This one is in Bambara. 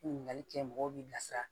Ɲininkali kɛ mɔgɔw bɛ bilasira